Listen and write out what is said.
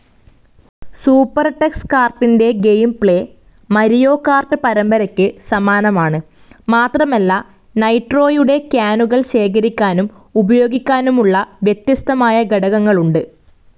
സൂപ്പർടക്സ്കാർട്ടിന്റെ gameplay, Mario kart പരമ്പരയ്ക്ക് സമാനമാണ്, മാത്രമല്ല നൈട്രോയുടെ ക്യാനുകൾ ശേഖരിക്കാനും ഉപയോഗിക്കാനുമുള്ള വ്യത്യസ്തമായ ഘടകങ്ങളുണ്ട്.